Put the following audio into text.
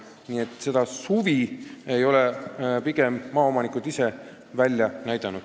Nii et maaomanikud pole selle vastu huvi üles näidanud.